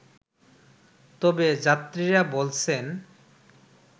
তবে যাত্রীরা বলছেন